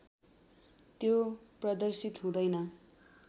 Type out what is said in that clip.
त्यो प्रदर्शित हुँदैन